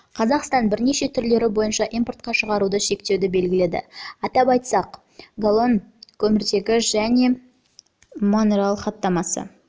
қазақстан бірнеше түрлері бойынша импортқа шығаруды шектеуді белгіледі атап айтсақ хлорфторкөміртегі галон тетрахлорид көміртегі және метилхлороформ